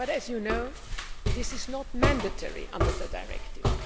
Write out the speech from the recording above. But as you know, this is not mandatory under the directive.